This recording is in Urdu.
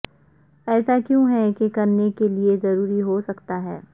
ایسا کیوں ہے کہ کرنے کے لئے ضروری ہو سکتا ہے